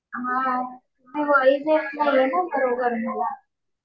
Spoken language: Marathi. हा. ते व्हॉइस येत नाहीये गं बरोबर मला.